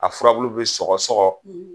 A furabulu bɛ sɔgɔsɔgɔ;